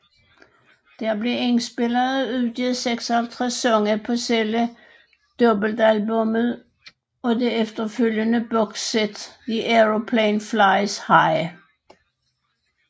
Der blev indspillet og udgivet 56 sange på selve dobbeltalbummet og det efterfølgende boxsæt The Aeroplane Flies High